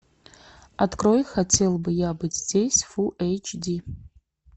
открой хотел бы я быть здесь фул эйч ди